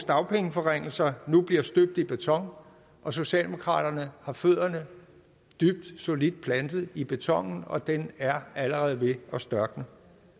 dagpengeforringelser nu bliver støbt i beton og socialdemokraterne har fødderne dybt og solidt plantet i betonen og den er allerede ved at størkne